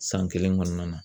San kelen kɔnɔna na